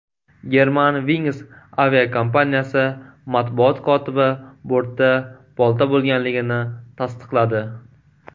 Germanwings aviakompaniyasi matbuot kotibi bortda bolta bo‘lganligini tasdiqladi.